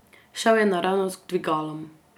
Šel je naravnost k dvigalom.